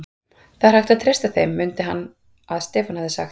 Það er hægt að treysta þeim, mundi hann að Stefán hafði sagt.